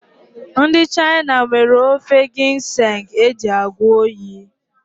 Ndị China nwere ofe ginseng eji agwọ oyi